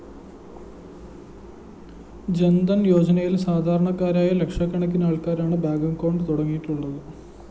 ജന്‍ധന്‍ യോജനയില്‍ സാധാരണക്കാരായ ലക്ഷക്കണക്കിന് ആള്‍ക്കാരാണ് ബാങ്ക്‌ അക്കൌണ്ട്‌ തുടങ്ങിയിട്ടുള്ളത്